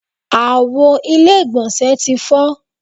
Àwo ilé ìgbọ̀nsẹ̀ ti fọ́.